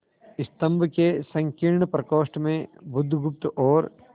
स्तंभ के संकीर्ण प्रकोष्ठ में बुधगुप्त और